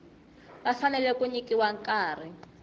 va fanele ku nyikiwa nkarhi